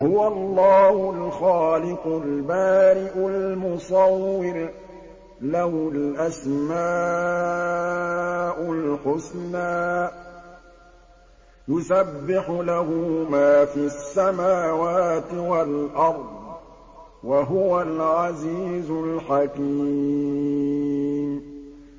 هُوَ اللَّهُ الْخَالِقُ الْبَارِئُ الْمُصَوِّرُ ۖ لَهُ الْأَسْمَاءُ الْحُسْنَىٰ ۚ يُسَبِّحُ لَهُ مَا فِي السَّمَاوَاتِ وَالْأَرْضِ ۖ وَهُوَ الْعَزِيزُ الْحَكِيمُ